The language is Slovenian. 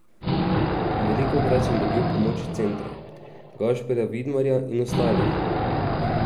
Velikokrat sem dobil pomoč centrov, Gašperja Vidmarja in ostalih.